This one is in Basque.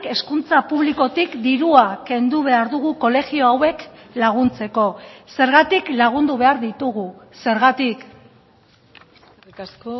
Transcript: hezkuntza publikotik dirua kendu behar dugu kolegio hauek laguntzeko zergatik lagundu behar ditugu zergatik eskerrik asko